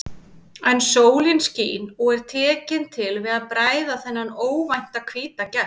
En sólin skín og er tekin til við að bræða þennan óvænta hvíta gest.